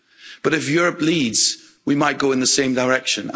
But if Europe leads, we might go in the same direction.